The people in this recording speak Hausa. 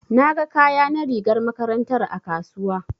Na ga kaya na rigar makarantar a kasuwa.